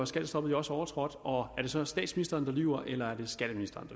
skattestoppet jo også overtrådt og er det så statsministeren der lyver eller er det skatteministeren